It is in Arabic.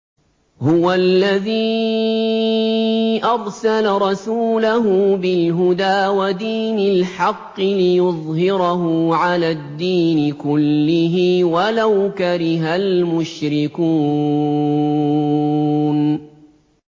هُوَ الَّذِي أَرْسَلَ رَسُولَهُ بِالْهُدَىٰ وَدِينِ الْحَقِّ لِيُظْهِرَهُ عَلَى الدِّينِ كُلِّهِ وَلَوْ كَرِهَ الْمُشْرِكُونَ